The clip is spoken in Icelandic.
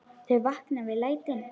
Þau vakna við lætin.